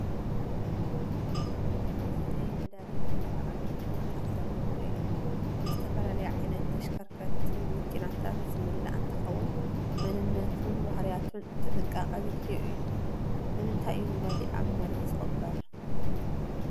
እዚ ናይ ነደዲ መጠራቐሚ ቦጣት ዘለዎ እዩ፡፡ ንዝተፈላለያ ዓይነት ተሽከርከርቲ መኪናታት ዝምላእ እንትኸውን መንነቱን ባህርያቱን ጥንቓቐ ዘድልዮ እዩ፡፡ ንምንታይ እዩ ነዳዲ ኣብ መሬት ዝቕበር?